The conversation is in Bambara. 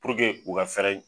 u ka fɛɛrɛ